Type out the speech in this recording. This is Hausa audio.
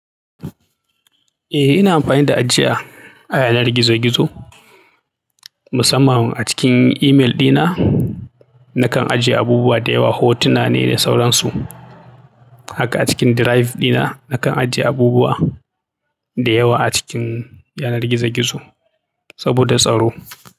Eh, ina amfani da ajiya a yanar gizo-gizo, musamman a cikin email dina. Nakan ajiye abubuwa da yawa, hotuna ne da sauransu. Haka a cikin drive dina, nakan ajiye abubuwa da yawa a cikin yanar gizo-gizo saboda tsaro.